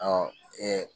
Ɔ